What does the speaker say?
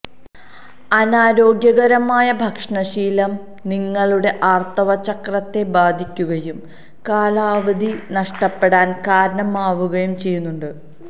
അനാരോഗ്യകരമായ ഭക്ഷണശീലം നിങ്ങളുടെ ആര്ത്തവചക്രത്തെ ബാധിക്കുകയും കാലാവധി നഷ്ടപ്പെടാന് കാരണമാവുകയും ചെയ്യുന്നുണ്ട്